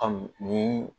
A m ni